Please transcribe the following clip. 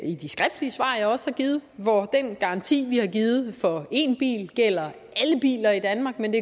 i de skriftlige svar jeg også har givet hvor den garanti vi har givet for én bil gælder alle biler i danmark men